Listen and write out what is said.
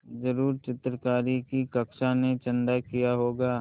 ज़रूर चित्रकारी की कक्षा ने चंदा किया होगा